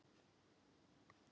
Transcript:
Helga: Kom þetta ykkur á óvart?